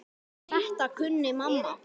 Þetta kunni mamma.